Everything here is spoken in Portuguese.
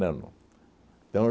não. Então